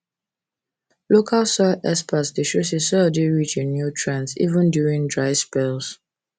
local soil experts dey show say soil dey rich in nutrients even during dry spells